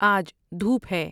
آج دھوپ ہے